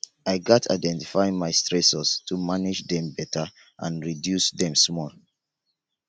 i gats identify my stressors to manage dem beta and reduce dem small